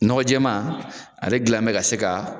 Nɔgɔ jɛɛma ale gilan mɛ ka se ka